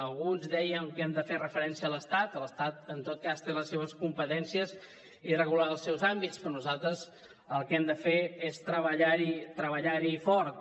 algú ens deia que hem de fer referència a l’estat l’estat en tot cas té les seves competències i regularà els seus àmbits però nosaltres el que hem de fer és treballar hi treballar hi fort